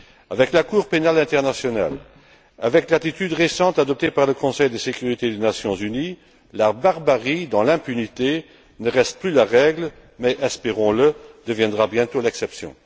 Avec la Cour pénale internationale, avec l'attitude récente adoptée par le Conseil de sécurité des Nations unies, la barbarie dans l'impunité ne reste plus la règle, mais, espérons le, deviendra bientôt l'exception.